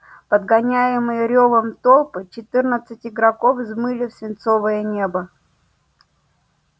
подгоняемые рёвом толпы четырнадцать игроков взмыли в свинцовое небо